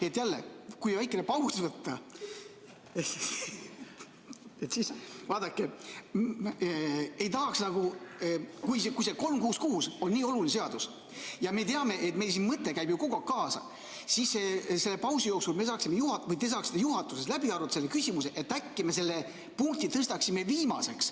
Kui jälle väikene paus võtta , siis vaadake, kui see 366 on nii oluline seadus ja me teame, et meil siin mõte käib ju kogu aeg kaasa, siis selle pausi jooksul te saaksite juhatuses läbi arutada selle küsimuse, et äkki me selle punkti tõstaksime viimaseks.